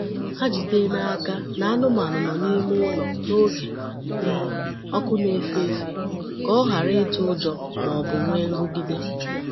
Ha jide n'aka na anụmanụ nọ n’ime ụlọ n’oge um ọkụ na-efe efe ka o ghara ịtụ ụjọ ma ọ bụ nwee nrụgide.